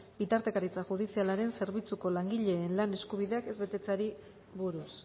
bitartekaritza judizialaren zerbitzuko langileen lan eskubideak ez betetzeari buruz